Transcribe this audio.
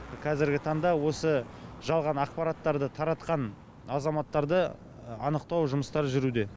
қазіргі таңда осы жалған ақпараттарды таратқан азаматтарды анықтау жұмыстары жүруде